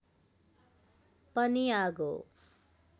पनि आगो